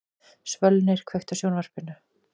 Svölnir, kveiktu á sjónvarpinu.